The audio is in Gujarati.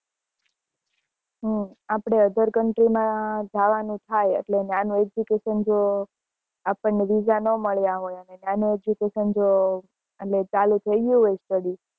હ આપડે other country માં જવાનું થાય એટલે ત્યાં નું education જો આપને visa ના મળ્યા હોય અને ત્યાં નું education જો ચાલુ થઇ ગઈ હોય study